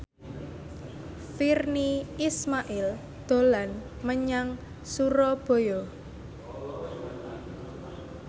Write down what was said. Virnie Ismail dolan menyang Surabaya